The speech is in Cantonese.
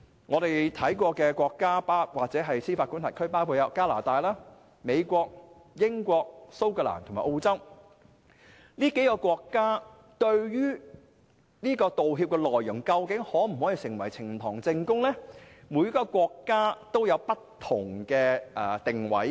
我們曾經參考其做法的國家或司法管轄區，分別有加拿大、美國、英國、蘇格蘭和澳洲，這些國家對於道歉內容能否成為呈堂證供，各有不同定位。